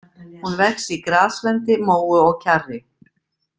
Hún vex í graslendi, móu og kjarri.